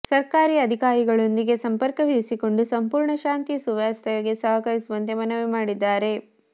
ಸರ್ಕಾರಿ ಅಧಿಕಾರಿಗಳೊಂದಿಗೆ ಸಂಪರ್ಕವಿರಿಸಿಕೊಂಡು ಸಂಪೂರ್ಣ ಶಾಂತಿ ಸುವ್ಯವಸ್ಥೆಗೆ ಸಹಕರಿಸುವಂತೆ ಮನವಿ ಮಾಡಿದ್ದಾರೆ